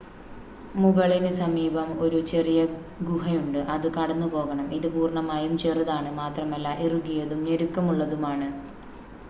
മുകളിന് സമീപം ഒരു ചെറിയ ഗുഹയുണ്ട് അത് കടന്നുപോകണം ഇത് പൂർണ്ണമായും ചെറുതാണ് മാത്രമല്ല ഇറുകിയതും ഞെരുക്കമുള്ളതുമാണ്